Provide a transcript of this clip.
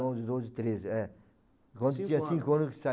onze, doze, treze, é. Quando eu tinha cinco anos que